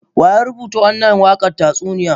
Wa ya rubuta wannan waƙar tatsauniya?